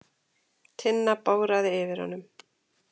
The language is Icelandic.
Tinna bograði yfir honum.